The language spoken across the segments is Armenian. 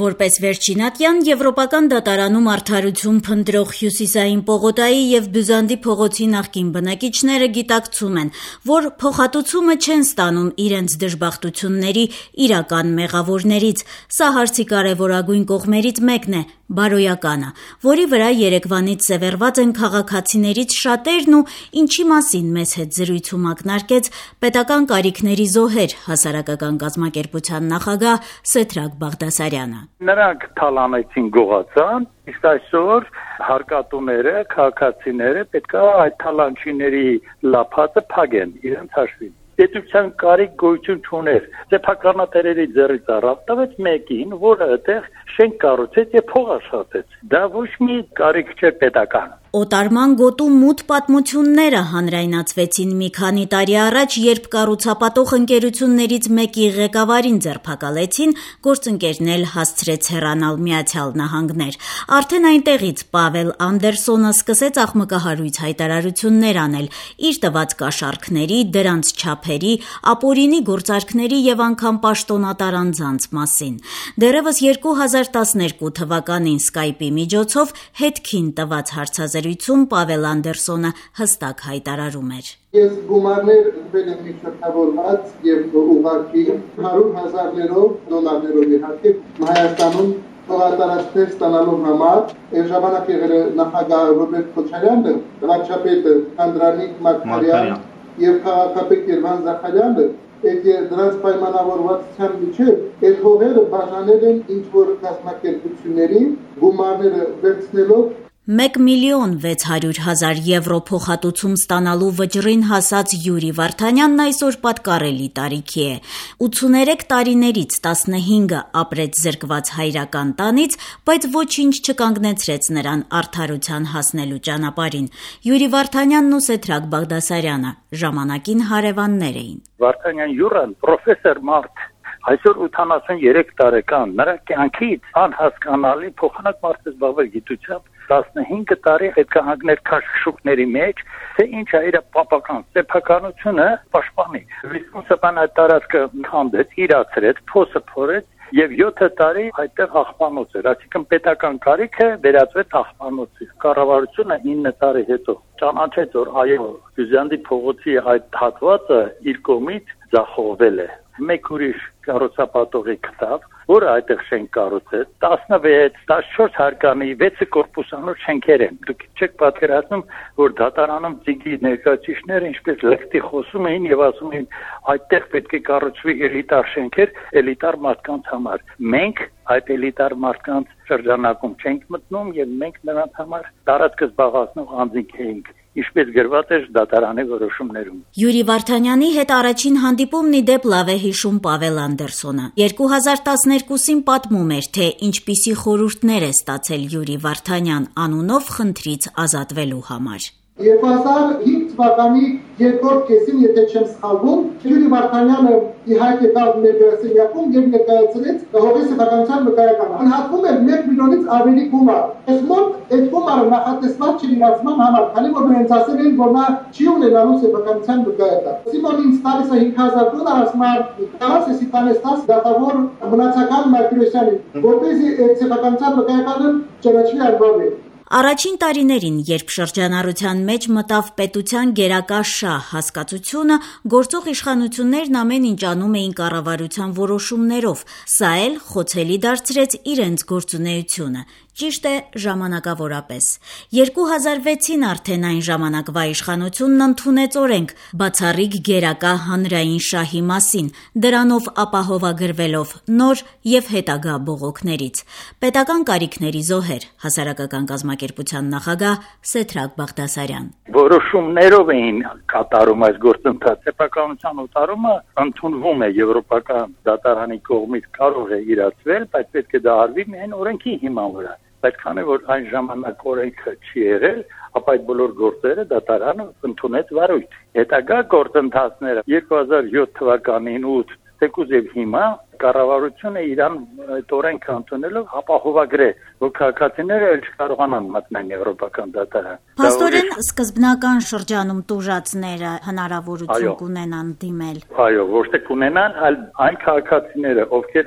Որպես վերջին ատյան Եվրոպական դատարանում արդարություն փնտրող Հյուսիսային պողոտայի եւ Բյուզանդի փողոցի նախկին բնակիչները գիտակցում են, որ փոխհատուցումը չեն ստանում իրենց դժբախտությունների իրական մեղավորներից: Սա հարցի կարեւորագույն կողմերից մեկն է՝ բարոյականը, որի վրա երեկվանից սեւեռված են քաղաքացիներից շատերն ու ինչի մասին մեզ հետ զրույցում ակնարկեց «Պետական կարիքների զոհեր» ՀԿ նախագահ Սեդրակ Բաղդասարյանը: «Նրանք թալանեցին, գողացան, իսկ այսօր հարկատուները, շարքային քաղաքացիները պետք է այդ թալանչիների լափածը փակեն իրենց հաշվին: Պետության կարիք գոյություն չուներ: Սեփականատերերի ձեռքից առավ, տվեց մեկին, որը այդտեղ շենք կառուցեց եւ փող աշխատեց: Դա ոչ մի կարիք չէր պետական»: «Օտարման գոտու» մութ պատմությունները հանրայնացվեցին մի քանի տարի առաջ, երբ կառուցապատող ընկերություններից մեկի ղեկավարին ձերբակալեցին, գործընկերն էլ հասցրեց հեռանալ Միացյալ Նահանգներ: Արդեն այնտեղից Պավել Անդերսոնը սկսեց աղմկահարույց հայտարարություններ անել՝ իր տված կաշառքների, դրանց չափերի, ապօրինի գործարքների եւ անգամ պաշտոնատար անձանց մասին: Դեռեւս 2012 թվականին «Skype»-ի միջոցով «Հետք»-ին տված հարցազրույցում Պավել Անդերոսը հստակ հայտարարում էր. «Ես գումարներ տվել եմ միջնորդավորված եւ ուղղակի: Հարյուր հազարներով՝ դոլարներով, իհարկե, Հայաստանում հողատարածքներ ստանալու համար: Այն ժամանակ նախագահը Ռոբերտ Քոչարյանն էր, վարչապետը՝ Անդրանիկ Մարգարյանը, քաղաքապետը՝ Երվանդ Զախարյանը: Նրանք, պայմանավորվածության համաձայն, գումարները վերցնելով այդ հողերը բաժանել են ինչ-որ կազմակերպությունների»: 1 միլիոն 600 հազար եվրո փոխհատուցում ստանալու վճռին հասած Յուրի Վարդանյանն այսօր պատկառելի տարիքի է: 83 տարիներից 15-ը ապրեց՝ զրկված հայրական տանից, բայց ոչինչ չկանգնեցրեց նրան արդարության հասնելու ճանապարհին: Յուրի Վարդանյանն ու Սեդրակ Բաղդասարյանը ժամանակին հարեւաններ էին: «Վարդանյան Յուրան պրոֆեսոր մարդ է: Այսօր 83 տարեկան է, նրա կյանքից անհասկանալի ժամանակ կորավ: Գիտությամբ զբաղվելու փոխարեն 15 տարի քաշքշուկների մեջ էր, որ պապական սեփականությունը պաշտպանի: «Վիզկոն» ՍՊԸ-ն այդ տարածքը քանդեց, իրացրեց, փոսը փորեց, եւ 7 տարի այդտեղ աղբանոց էր: Այսինքն՝ պետական կարիքը վերածվեց աղբանոցի: Կառավարությունը 9 տարի հետո ճանաչեց, որ Բյուզանդի փողոցի այդ հատվածը իր կողմից ձախողվել է: Մեկ ուրիշ կառուցապատողի գտավ, որը այդտեղ շենք կառուցեց՝ 14-16 հարկանի, 6 մասնաշենքով: Դուք չեք պատկերացնում, թե դատարաններում ԾԻԳ-ի ներկայացուցիչները ինչ լկտի էին խոսում եւ ասում՝ այդտեղ պետք է կառուցվի էլիտար շենքեր էլիտար մարդկանց համար, մենք այդ էլիտար մարդկանց շրջանը չենք մտնում եւ մենք նրանց համար տարածքը զբաղեցնող անձինք էինք: Ինչպես գրված էր դատարանների որոշումներում»: Յուրի Վարդանյանի հետ առաջին հանդիպումն, ի դեպ, լավ է հիշում Պավել Անդերսոնը: Դեռ 2012-ին պատմում էր, թե ինչպիսի խորհուրդներ է ստացել «Յուրի Վարդանյան» անունով խնդրից ազատվելու համար. «2005 թվականի երկրորդ կեսին, եթե չեմ սխալվում, Յուրի Վարդանյանը եկավ մեր գրասենյակ եւ ներկայացրեց հողի սեփականության վկայականը: Գնահատվում էր 1 միլիոնից ավելի գումար: Մեզ մոտ այդ գումարը նախատեսված չէր իրացման համար, քանի որ ինձ ասել էին որ նա չի ունենալու սեփականության վկայական: Տալիս են ինձ 5 հազար դոլար, ասում են՝ կարո՞ղ ես սա տանել դատավոր Մնացական Մարտիրոսյանին, որպեսզի այդ սեփականության վկայականը ճանաչի անվավեր»: Առաջին տարիներին, երբ շրջանառության մեջ մտավ «պետության գերակա շահ» հասկացությունը, գործող իշխանություններն ամեն ինչ անում էին կառավարության որոշումներով: Սա էլ խոցելի դարձրեց իրենց գործունեությունը՝ ճիշտ է ժամանակավորապես: 2006-ին արդեն այն ժամանակվա իշխանությունն ընդունեց օրենք «Բացառիկ գերակա հանրային շահի» մասին՝ դրանով ապահովագրվելով նոր եւ հետագա բողոքներից: «Պետական կարիքների զոհեր» ՀԿ նախագահ Սեդրակ Բաղդասարյան. -Որոշումներով էին կատարում այս գործընթացը: Սեփականության օտարումը ընդունվում է Եվրոպական դատարանի կողմից, դա կարող է արվել միայն օրենքի հիման վրա: Բայց քանի որ այն ժամանակ օրենքը չի եղել, ապա այդ բոլոր գործերը դատարանն ընդունեց վարույթ: Հետագա գործընթացները՝ 2007-2008 թվականներին, թեկուզ հիմա՝ կառավարությունն այդ օրենքն ընդունելով ապահովագրեց իրեն, որ քաղաքացիներն այլեւս չկարողանան մտնել Եվրոպական դատարան: -Փաստորեն սկզբնական շրջանի տուժածները հնարավորություն կունենան դիմել: -Այո, ոչ թե կունենա, այլ՝ այն քաղաքացիներն, ովքեր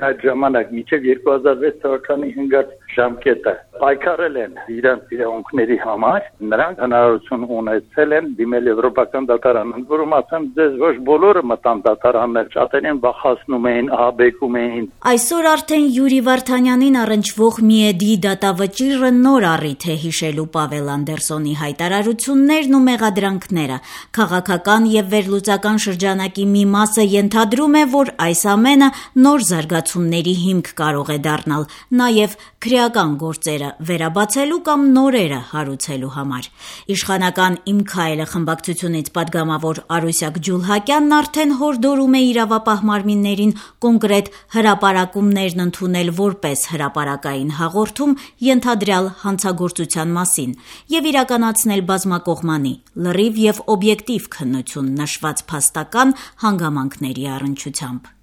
մինչեւ 2006 թվականն ընկած ժամկետը պայքարել են իրենց իրավունքների համար, նրանք հնարավորություն ունեցել են դիմել Եվրոպական դատարն: Ընդ որում ասեմ՝ ոչ բոլորը մտան դատարաններ: Շատերին վախեցնում, ահաբեկում էին: Այսօր արդեն Յուրի Վարդանյանին առնչվող ՄԻԵԴ-ի դատավճիռը նոր առիթ է՝ հիշելու Պավել Անդերսոնի հայտարարություններն ու մեղադրանքները: Քաղաքական եւ վերլուծական շրջանակի մի մասը ենթադրում է, որ այս ամենը նոր զարգացումների հիմք կարող է դառնալ՝ նաեւ քրեական գործերը վերաբացելու կամ նորերը հարուցելու համար: Իշխանական «Իմ քայլը» խմբակցությունից պատգամավոր Արուսյակ Ջուլհակյանն արդեն հորդորում է իրավապահ մարմիններին կոնկրետ հրապարակումներն ընդունել որպես հրապարակային հաղորդում ենթադրյալ հանցագործության մասին եւ իրականացնել բազմակողմանի, լրիվ եւ օբյեկտիվ քննություն նշված փաստական հանգամանքների առչությամբ: